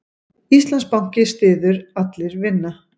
Íslandsbanki styður Allir vinna